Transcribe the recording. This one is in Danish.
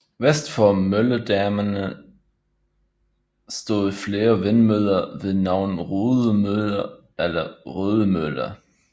Vest for Mølledammene stod flere vindmøller ved navn Rudemøller eller Rødemøller